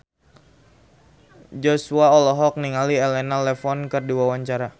Joshua olohok ningali Elena Levon keur diwawancara